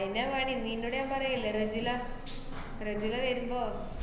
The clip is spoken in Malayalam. അതന്നെയാ പണി. നിന്നോട് ഞാൻ പറയില്ലേ റെജില, റെജില വരുമ്പോ.